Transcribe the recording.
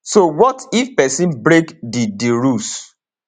so wat if pesin break di di rules